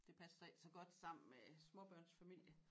Det passede så ikke så godt sammen med småbørnsfamilie